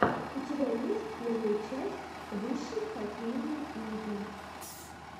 у тебя есть первая часть высшей хоккейной лиги